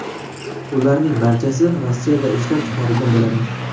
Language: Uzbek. Ularning barchasi Rossiyada ishlab chiqarilgan bo‘ladi.